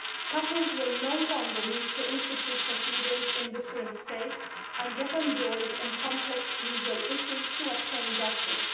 Couples will no longer need to institute proceedings in different states and get embroiled in complex legal issues to obtain justice.